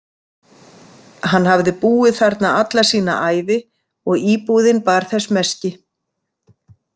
Hann hafði búið þarna alla sína ævi og íbúðin bar þess meski.